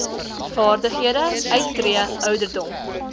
vaardighede uittree ouderdom